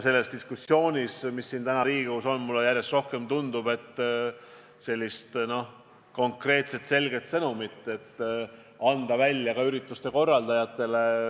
Selles diskussioonis, mis täna siin Riigikogus on, tundub mulle järjest rohkem, et ürituste korraldajatele on vaja anda konkreetne, selge sõnum.